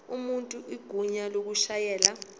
umuntu igunya lokushayela